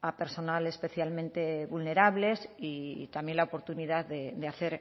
a personal especialmente vulnerables y también la oportunidad de hacer